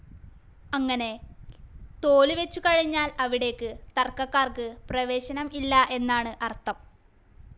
അങ്ങനെ തോലുവെച്ചുകഴിഞ്ഞാൽ അവിടേക്ക് തർക്കക്കാർക്ക് പ്രവേശനം ഇല്ല എന്നാണു അർഥം.